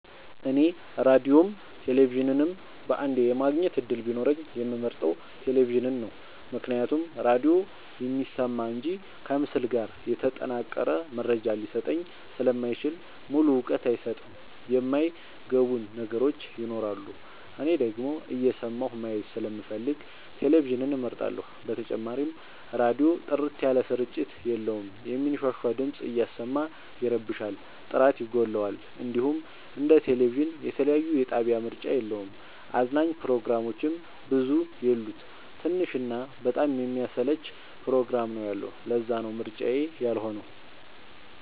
እኔ ራዲዮም ቴሌቪዥንም በአንዴ የማግኘት እድል ቢኖረኝ የምመርጠው። ቴሌቪዥንን ነው ምክንያቱም ራዲዮ የሚሰማ እንጂ ከምስል ጋር የተጠናቀረ መረጃ ሊሰጠኝ ስለማይችል ሙሉ እውቀት አይሰጥም የማይ ገቡን ነገሮች ይኖራሉ። እኔ ደግሞ እየሰማሁ ማየት ስለምፈልግ ቴሌቪዥንን እመርጣለሁ። በተጨማሪም ራዲዮ ጥርት ያለ ስርጭት የለውም የሚንሻሻ ድምፅ እያሰማ ይረብሻል ጥራት ይጎለዋል። እንዲሁም እንደ ቴሌቪዥን የተለያየ የጣቢያ ምርጫ የለውም። አዝናኝ ፕሮግራሞችም ብዙ የሉት ትንሽ እና በጣም የሚያሰለች ፕሮግራም ነው ያለው ለዛነው ምርጫዬ ያልሆ ነው።